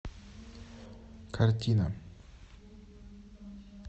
картина